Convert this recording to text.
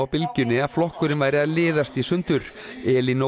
Bylgjunni að flokkurinn væri að liðast í sundur